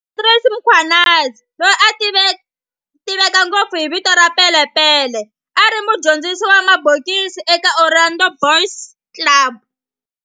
Andries Mkhwanazi, loyi a tiveka ngopfu hi vito ra Pele Pele, a ri mudyondzisi wa mabokisi eka Orlando Boys Club.